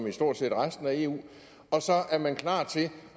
i stort set resten af eu og så er man klar til